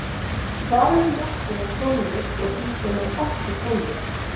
Hvar eru mörkin á tónlist og því sem er ekki tónlist?